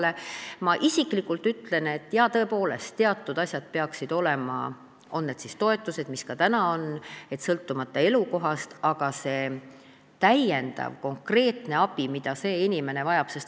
Ma ütlen isikliku arvamuse, et teatud asjad peaksid tõepoolest olema, on need siis toetused, mis ka praegu ei sõltu elukohast, või ka täiendav konkreetne abi, mida inimene vajab.